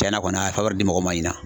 Tiɲɛna kɔni a ye di mɔgɔ ma ɲina .